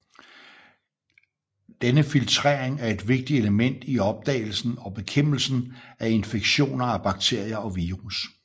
Denne filtrering er et vigtigt element i opdagelsen og bekæmpelsen af infektioner af bakterier og virus